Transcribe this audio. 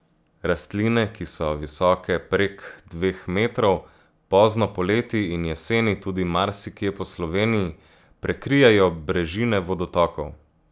Rastline, ki so visoke prek dveh metrov, pozno poleti in jeseni tudi marsikje po Sloveniji prekrijejo brežine vodotokov.